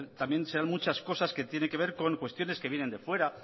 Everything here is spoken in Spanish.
también serán muchas cosas que tiene que ver con cuestiones que vienen de fuera